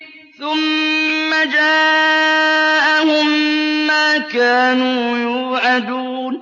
ثُمَّ جَاءَهُم مَّا كَانُوا يُوعَدُونَ